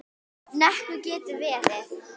Nökkvi getur verið